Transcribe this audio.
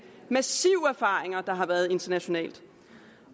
massive erfaringer der har været internationalt